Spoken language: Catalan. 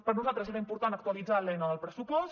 per nosaltres era important actualitzar l’eina del pressupost